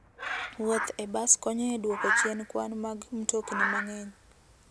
Wuoth e bas konyo e duoko chien kwan mag mtokni mang'eny.